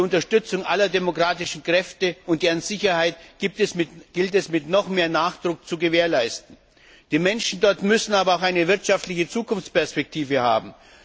Die Unterstützung aller demokratischen Kräfte und deren Sicherheit gilt es mit noch mehr Nachdruck zu gewährleisten. Die Menschen dort müssen aber auch eine wirtschaftliche Zukunftsperspektive haben.